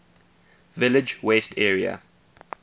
village west area